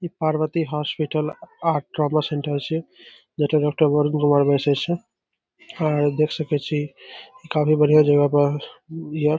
ई Parvati hospital और trauma centre छे। आउ देख सकै छी ई काफी बढ़िया जगह पर बिया।